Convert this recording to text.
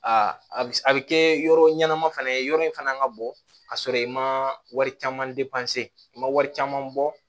Aa a bɛ kɛ yɔrɔ ɲɛnama fana ye yɔrɔ in fana ka bɔ ka sɔrɔ i ma wari caman i ma wari caman bɔ